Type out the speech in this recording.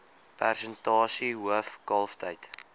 persentasie hoof kalftyd